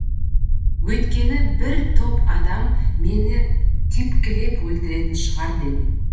өйткені бір топ адам мені тепкілеп өлтіретін шығар дедім